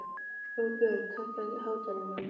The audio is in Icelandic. Róbjörg, hækkaðu í hátalaranum.